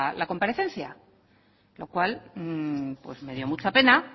la comparecencia lo cual me dio mucha pena